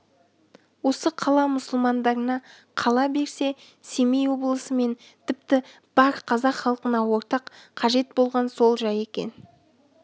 осы қала мұсылмандарына қала берсе семей облысы және тіпті бар қазақ халқына ортақ қажет болған сол жай екен